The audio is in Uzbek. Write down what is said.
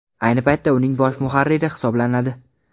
Ayni paytda uning bosh muharriri hisoblanadi.